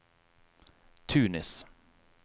Tunis